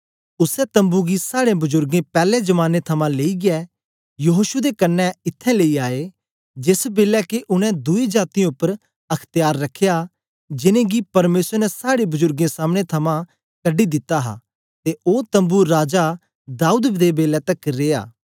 उसै तम्बू गी साड़े बजुर्गें पैले जमाने थमां लेईयै यहोशू दे कन्ने इत्त्थैं लेई आए जेस बेलै के उनै दुई जातीयें उपर अख्त्यार रखया जिनेंगी परमेसर ने साड़े बजुर्गें सामने थमां कढी दिता हा ते ओ तम्बू राजा दाऊद दे बेलै तकर रिया